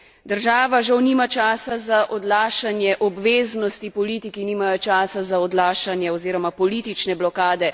Država žal nima časa za odlašanje obveznosti, politiki nimajo časa za odlašanje oziroma politične blokade.